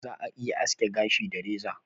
Za'a iya aske gashi da reza.